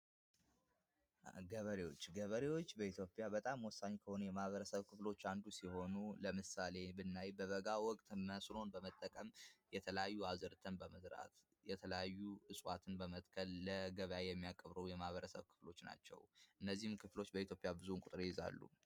ገበሬዎች ገበሬዎች በኢትዮጵያ በጣም ወሳኝ ከሆኑ የማበረሰብ ክፍሎች አንዱ ሲሆኑ ለምሳሌ ብናይ በበጋ ወቅት መስኖን በመጠቀም የተላዩ አዘርትን በመዝራት የተለዩ እፅዋትን በመጥከል ለገበያ የሚያቀርቡ የማበረሰብ ክፍሎች ናቸው። እነዚህም ክፍሎች በኢትዮጵያ ብዙን ቁጥር ይዛሉ።